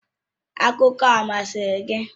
Akụkọ ahụ ọ masịrị gị?.